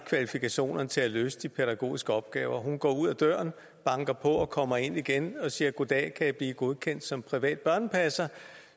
kvalifikationerne til at løse de pædagogiske opgaver hun går ud ad døren banker på og kommer ind igen og siger goddag kan jeg blive godkendt som privat børnepasser